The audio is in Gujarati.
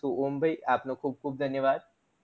તો ઓમ ભય આપનું ખુબ ખુબ ધન્યવાદ